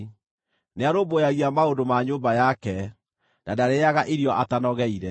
Nĩarũmbũyagia maũndũ ma nyũmba yake, na ndarĩĩaga irio atanogeire.